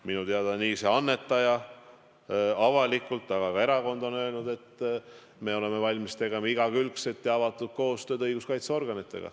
Minu teada on nii see annetaja kui ka erakond avalikult öelnud, et me oleme valmis tegema igakülgset ja avatud koostööd õiguskaitseorganitega.